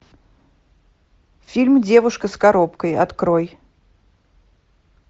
фильм девушка с коробкой открой